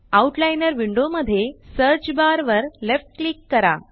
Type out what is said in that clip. out liner window मध्ये search bar वर left click करा